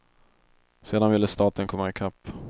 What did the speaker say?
Sedan ville staten komma i kapp.